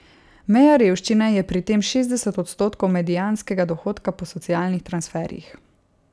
Meja revščine je pri tem šestdeset odstotkov medianskega dohodka po socialnih transferjih.